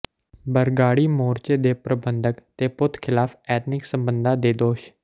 ਬਰਗਾੜੀ ਮੋਰਚੇ ਦੇ ਪ੍ਰਬੰਧਕ ਤੇ ਪੁੱਤ ਖ਼ਿਲਾਫ਼ ਅਨੈਤਿਕ ਸਬੰਧਾਂ ਦੇ ਦੋਸ਼